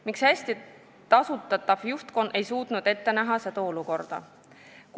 Miks hästi tasustatav juhtkond ei suutnud ette näha seda olukorda?